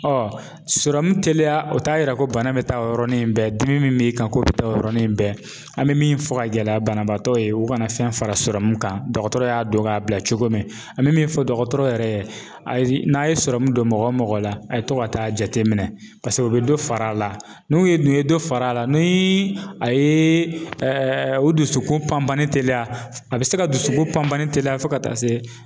Ɔ sɔrɔmu teliya o t'a yira ko bana bɛ taa o yɔrɔnin bɛɛ dimi min b'i kan k'o bɛ taa o yɔrɔnin bɛɛ an bɛ min fɔ ka gɛlɛya banabaatɔ ye u kana fɛn fara sɔrɔmu kan dɔgɔtɔrɔ y'a dɔn k'a bila cogo min an bɛ min fɔ dɔgɔtɔrɔ yɛrɛ ye n'a' ye sɔrɔmu don mɔgɔ o mɔgɔ la a' ye to ka taa jateminɛ paseke u bɛ dɔ far'a la n'u ye dun ye dɔ far'a la ni a ye o dusukun panpanni teliya a bɛ se ka dusukun panpanni teliya fo ka taa se